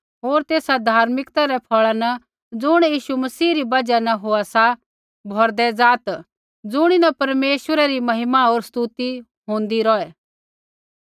होर तेसा धार्मिकता रै फला न ज़ुण यीशु मसीह री बजहा न होआ सा भौरदै ज़ात ज़ुणीन परमेश्वरै री महिमा होर स्तुति होंदै रौहै